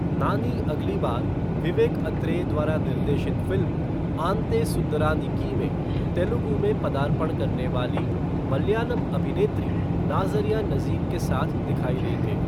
नानी अगली बार विवेक अत्रेय द्वारा निर्देशित फ़िल्म आंते सुंदरानिकी में तेलुगु में पदार्पण करने वाली मलयालम अभिनेत्री नाज़रिया नज़ीम के साथ दिखाई देंगे।